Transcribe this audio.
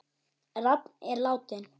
Rafn er látinn.